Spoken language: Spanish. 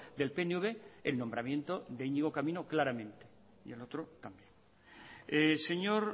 del pnv el nombramiento de iñigo camino claramente y el otro también señor